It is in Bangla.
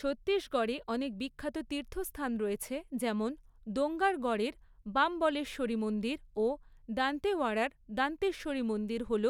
ছত্তিশগড়ে অনেক বিখ্যাত তীর্থস্থান রয়েছে, যেমন দোঙ্গারগড়ের বামবলেশ্বরী মন্দির ও দান্তেওয়াড়ার দান্তেশ্বরী মন্দির হল